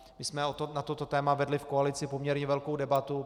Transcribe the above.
My jsme na toto téma vedli v koalici poměrně velkou debatu.